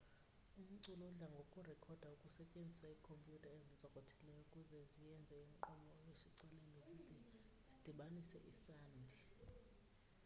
umculo udla ngokurekhodwa kusetyenziswa iikhomputha ezintsokothileyo ukuze zienze inkqubo yoshicilelo zize zidibanise isandi